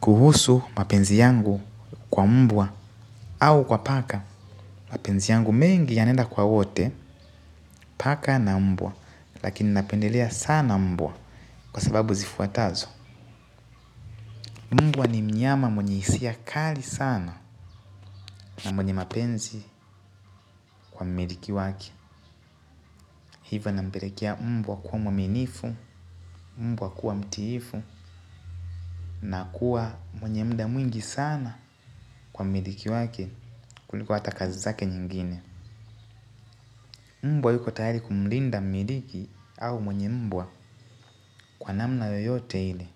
Kuhusu mapenzi yangu kwa mbwa au kwa paka mapenzi yangu mengi yanaenda kwa wote paka na mbwa. Lakini napendelea sana mbwa kwa sababu zifuatazo. Mbwa ni mnyama mwenye hisia kali sana na mwenye mapenzi kwa mmiliki wake. Hivo nampelekea mbwa kuwa mwaminifu, mbwa kuwa mtiifu na kuwa mwenye muda mwingi sana kwa mmiliki wake kuliko hata kazi zake nyingine. Mbwa yuko tayari kumlinda mmiliki au mwenye mbwa kwa namna yoyote ile.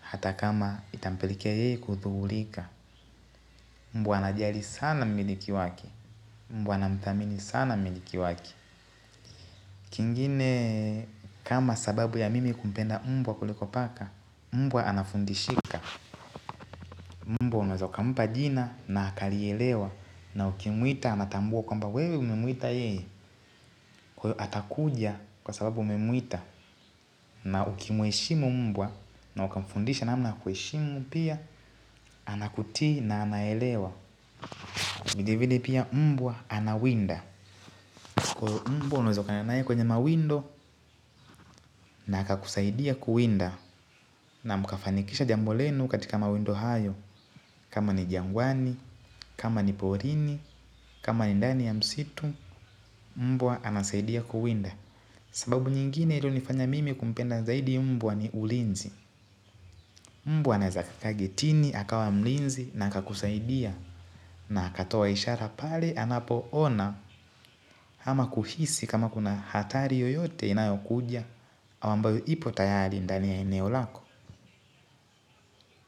Hata kama itampelekea yeye kuhudhurika mbwa ana jali sana mmiliki waki. Mbwa anamthamini sana mmiliki wake. Kingine kama sababu ya mimi kumpenda mbwa kuliko paka, mbwa anafundishika. Mbwa unaeza ukampa jina na akalielewa na ukimwita anatambua kwamba wewe umemwita yeye. Atakuja kwa sababu umemwita. Na uki mheshimu mbwa na uka mfundisha namna ya kuheshimu pia anakutii na anaelewa ilibidi pia mbwa anawinda mbwa unaeza ukaenda kananaye kwenye mawindo na haka kusaidia kuwinda na mkafanikisha jambo lenu katika mawindo hayo. Kama ni jangwani, kama ni porini, kama ni ndani ya msitu mbwa anasaidia kuwinda. Sababu nyingine iliyo nifanya mimi kumpenda zaidi mmbwa ni ulinzi. Mbwa anaeza kakaa gateni, akawa mlinzi na akakusaidia na akatoa ishara pale anapo ona ama kuhisi kama kuna hatari yoyote inayo kuja ama ambayo ipo tayari ndani ya eneo lako.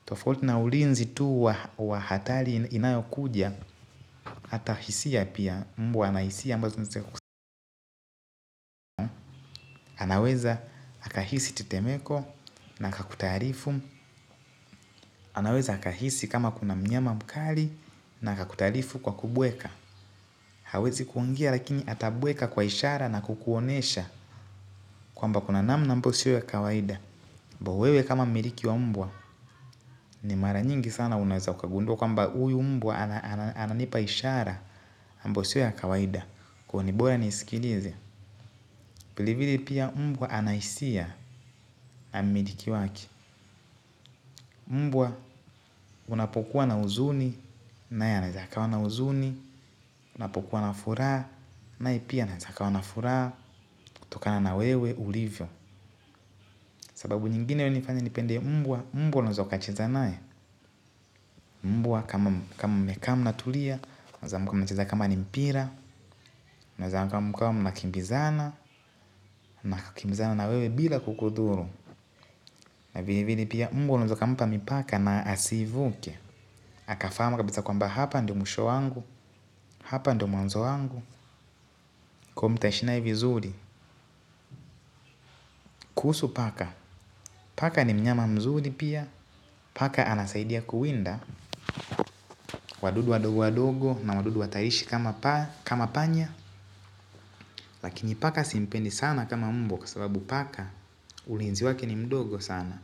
Tofauti na ulinzi tu wa hatari inayokuja hata hisia pia mbwa ana hisia ambazo ni za kusaidia. Anaweza akahisi tetemeko na akakutaarifu. Anaweza akahisi kama kuna mnyama mkali na akakutaarifu kwa kubweka. Hawezi kuongea lakini atabweka kwa ishara na kukuonyesha kwamba kuna namna ambayo siyo ya kawaida. Mbwa wewe kama miliki wa mbwa ni mara nyingi sana unaweza ukagundua kwamba huyu mbwa ananipa ishara ambayo si ya kawaida. Kwa hivyo ni bora nisikilize. Vile vile pia mbwa ana hisia na mmiliki wake. Mbwa unapokuwa na huzuni naye anaeza akawa na huzun. Unapokuwa na furaha naye pia anaeza akawa na furaha kutokana na wewe ulivyo, sababu nyingine inayonifanya nipende mbwa. Mbwa unaeza ukacheza naye. Mbwa kama mmekaa mnatulia mnaeza mkacheza kama ni mpira mnaeza mkawa mnakimbizana, na kukimbizana na wewe bila kukudhuru na vile vile pia mbwa unaeza ukampa mipaka na asiivuke akafahamu kabisa kwamba hapa ndio mwisho wangu. Hapa ndio mwanzo wangu. Kwa hivyo mtaishi naye vizuri, kuhusu paka. Paka ni mnyama mzuri pia. Paka anasaidia kuwinda wadudu wadogo wadogo na wadudu wahatarishi kama panya. Lakini paka simpendi sana kama mbwa. Kwa sababu paka ulinzi wake ni mdogo sana.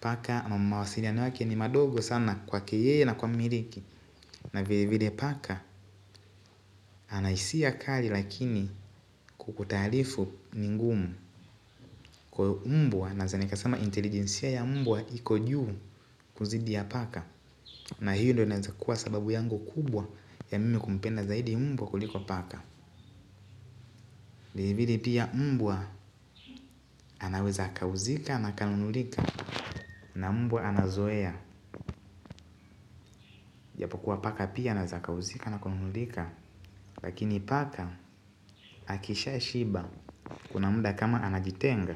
Paka mawasiliano yake ni madogo sana kwake yeye na kwa mmiriki na vile vile paka ana hisia kali lakini kukutaarifu ni ngumu. Kwa mbwa naeza nikasama intelijensia ya mbwa iko juu kuzidi ya paka na hiyo ndio inaeza kuwa sababu yangu kubwa ya mimi kumpenda zaidi mbwa kuliko paka. Vile vile pia mbwa anaweza akauzika na akanunulika na mbwa anazoea. Japokuwa paka pia anaeza akauzika na kununulika. Lakini paka akisha shiba kuna muda kama anajitenga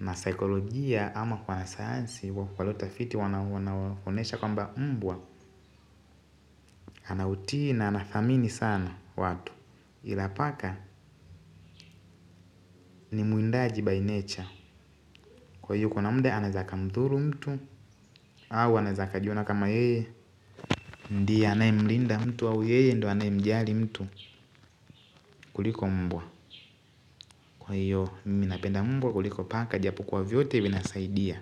na sikolojia ama kwa sayansi watafiti wanaonyesha kwamba mbwa ana utii na anathamini sana watu. Ila paka ni mwindaji by nature. Kwa hiyo kuna muda anaeza akamdhuru mtu au anaeza akajiona kama ye ndiye anayemlinda mtu wa au yeye ndiye anaye mjali mtu kuliko mbwa. Kwa hiyo mimi napenda mbwa kuliko paka. Japokuwa vyote vinasaidia.